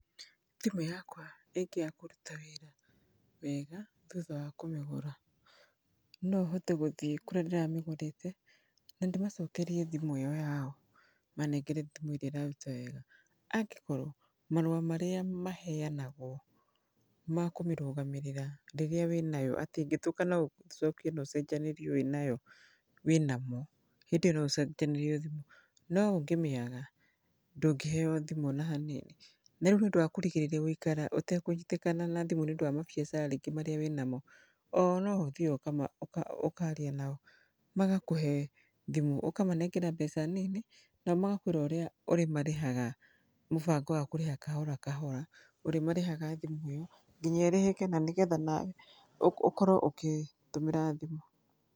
Thimũ yakwa ĩngĩaga kũruta wĩra wega thutha wa kũmĩgũra, nohote gũthiĩ kũrĩa ndĩramĩgũrĩte na ndĩmacokerie thimũ ĩyo yao manengere thimũ ĩrĩa ĩraruta wega, angĩkorwo marũa marĩa maheanagwo ma kũmĩrũgamĩrĩra rĩrĩa wĩnayo atĩ ĩngĩthũka no ũcokie nocenjanĩrio wĩnayo wĩnamo, hĩndĩ ĩyo noũcenjanĩrio thimũ. No ũngĩmĩaga ndũngĩheywo thimũ ona hanini. Na rĩu nĩũndũ wa kũrigĩrĩria gwĩkara ũtekũnyitĩkana na thimũ nĩũndũ wa mabiacara rĩngĩ marĩa wĩnamo, oo noo ũthiaga ũkama, ũka, ũkaria nao magakũhe thimũ, ũkamanengera mbeca nini, nao magakwĩra ũrĩa ũrĩmarĩhaga mũbango wa kũrĩha kahora kahora, ũrĩmarĩhaga thimũ ĩyo ngĩnya ĩrĩhĩke, nanĩgetha nawe ũko, ũkorwo ũkĩtũmĩra thimũ.